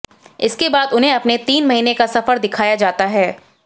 इसके बाद उन्हें अपने तीन महीने का सफर दिखाया जाता है